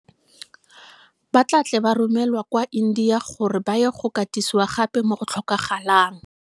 Ba tla tle ba romelwa kwa India gore ba ye go katisiwa gape mo go tlhokagalang.